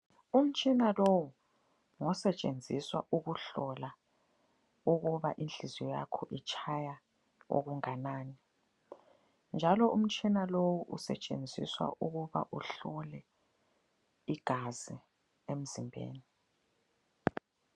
Umtshina lowu ngosetshenziswa ukuhlola ukuba inhliziyo yakho itshaya okungakani. Njalo umtshina lowu usetshenziswa ukuba uhlole igazi emzimbeni.